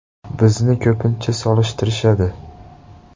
“Bizni ko‘pincha solishtirishadi.